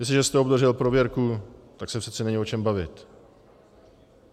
Jestliže jste obdržel prověrku, tak se přece není o čem bavit.